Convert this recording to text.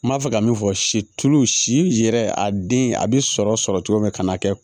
N b'a fɛ ka min fɔ silo si yɛrɛ a den a bɛ sɔrɔ sɔrɔ cogo min na ka n'a kɛ